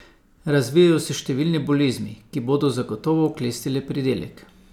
Razvijajo se številne bolezni, ki bodo zagotovo oklestile pridelek.